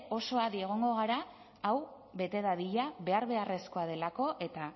oso adi egongo gara hau bete dadila behar beharrezkoa delako eta